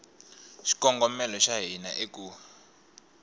xikongomelo xa hina i ku